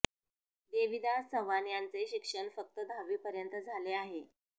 देवीदास चव्हाण यांचे शिक्षण फक्त दहावीपर्यंत झाले आहे